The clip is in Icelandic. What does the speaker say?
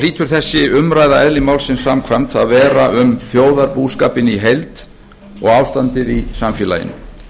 hlýtur þessi umræða eðli málsins samkvæmt að vera um þjóðarbúskapinn í heild og ástandið í samfélaginu